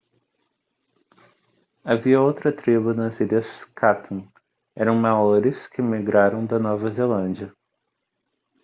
havia outra tribo nas ilhas chatham eram maoris que migraram da nova zelândia